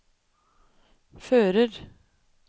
fører